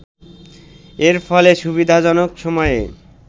এর ফলে সুবিধাজনক সময়ে